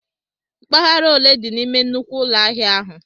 Mpaghara ole di n'ime nnukwu ụlọ ahịa ahụ?